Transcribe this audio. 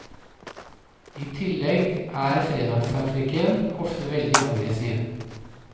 I tillegg er fredagstrafikken ofte veldig aggressiv.